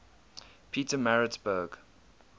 petermaritzburg